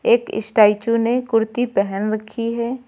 एक स्टैचू ने कुर्ती पहन रखी है।